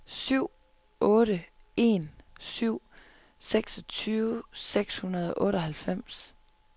syv otte en syv seksogtyve seks hundrede og otteoghalvfems